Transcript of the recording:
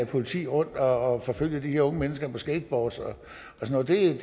politik rundt og forfølge de her unge mennesker på skateboards og sådan